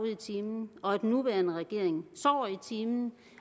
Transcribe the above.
i timen og at den nuværende regering sover i timen